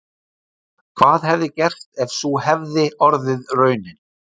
Hvað hefði gerst ef sú hefði orðið raunin?